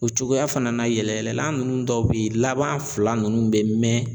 O cogoya fana na yɛlɛyɛlɛla ninnu dɔw bɛ yen laban fila ninnu bɛ